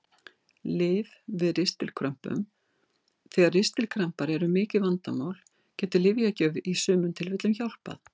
Lyf við ristilkrömpum Þegar ristilkrampar eru mikið vandamál getur lyfjagjöf í sumum tilfellum hjálpað.